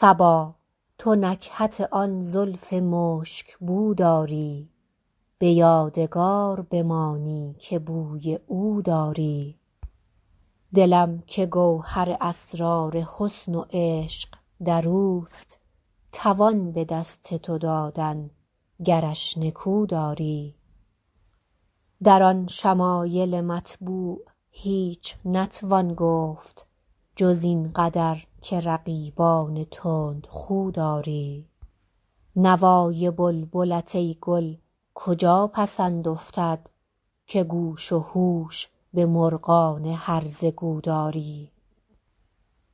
صبا تو نکهت آن زلف مشک بو داری به یادگار بمانی که بوی او داری دلم که گوهر اسرار حسن و عشق در اوست توان به دست تو دادن گرش نکو داری در آن شمایل مطبوع هیچ نتوان گفت جز این قدر که رقیبان تندخو داری نوای بلبلت ای گل کجا پسند افتد که گوش و هوش به مرغان هرزه گو داری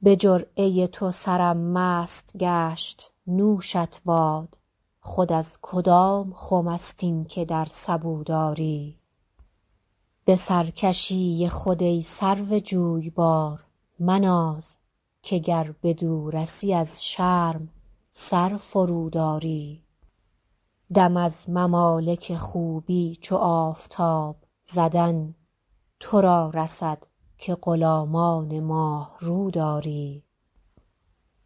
به جرعه تو سرم مست گشت نوشت باد خود از کدام خم است این که در سبو داری به سرکشی خود ای سرو جویبار مناز که گر بدو رسی از شرم سر فروداری دم از ممالک خوبی چو آفتاب زدن تو را رسد که غلامان ماه رو داری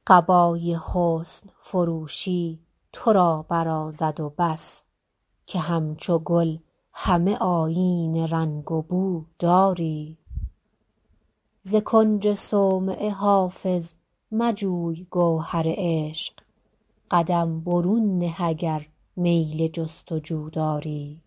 قبای حسن فروشی تو را برازد و بس که همچو گل همه آیین رنگ و بو داری ز کنج صومعه حافظ مجوی گوهر عشق قدم برون نه اگر میل جست و جو داری